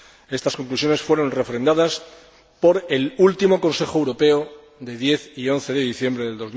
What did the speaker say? Estas conclusiones fueron refrendadas por el último Consejo Europeo de los días 10 y 11 de diciembre de